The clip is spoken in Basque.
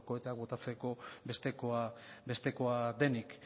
koheteak botatzeko bestekoa denik